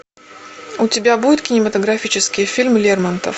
у тебя будет кинематографический фильм лермонтов